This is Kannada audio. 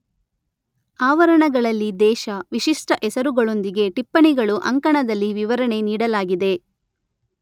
ಆವರಣಗಳಲ್ಲಿ ದೇಶ, ವಿಶಿಷ್ಟ ಹೆಸರುಗಳೊಂದಿಗೆ ಟಿಪ್ಪಣಿಗಳು ಅಂಕಣದಲ್ಲಿ ವಿವರಣೆ ನೀಡಲಾಗಿದೆ.